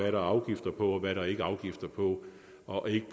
er afgifter på og hvad der ikke er afgifter på og ikke